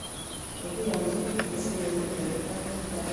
Kagiyonji biik chesire million oeng kibagenge nebo lewenishet kolewenis.